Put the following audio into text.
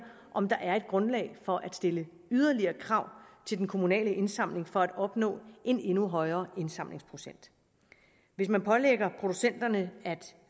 om der er et grundlag for at stille yderligere krav til den kommunale indsamling for at opnå en endnu højere indsamlingsprocent hvis man pålægger producenterne at